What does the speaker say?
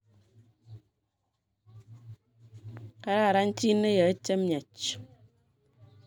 Kararan jii neyae chemyach